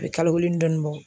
O bi kalo kelen ni dɔɔnin bɔ